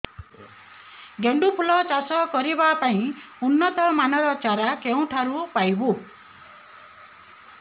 ଗେଣ୍ଡୁ ଫୁଲ ଚାଷ କରିବା ପାଇଁ ଉନ୍ନତ ମାନର ଚାରା କେଉଁଠାରୁ ପାଇବୁ